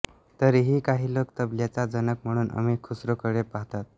तरीही काही लोक तबल्याचा जनक म्हणून अमिर खुस्रोकडे पाहतात